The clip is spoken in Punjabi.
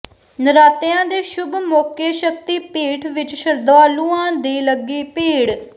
ਨਰਾਤਿਆਂ ਦੇ ਸ਼ੁਭ ਮੌਕੇ ਸ਼ਕਤੀਪੀਠ ਵਿਚ ਸ਼ਰਧਾਲੂਆਂ ਦੀ ਲੱਗੀ ਭੀੜ